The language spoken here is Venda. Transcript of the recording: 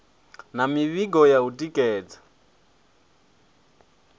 na mivhigo ya u tikedza